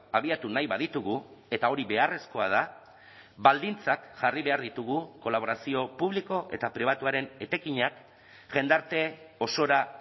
abiatu nahi baditugu eta hori beharrezkoa da baldintzak jarri behar ditugu kolaborazio publiko eta pribatuaren etekinak jendarte osora